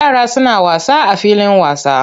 Yara suna wasa a filin wasa.